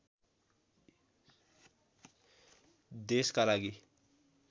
देशका लागि